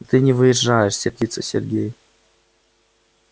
да ты не въезжаешь сердится сергей